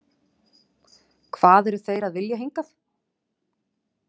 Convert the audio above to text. Hvað eru þeir að vilja hingað?